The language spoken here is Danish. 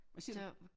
Hvad siger du?